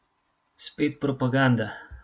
Spet propaganda.